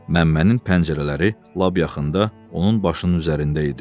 Məmmənin pəncərələri lap yaxında onun başının üzərində idi.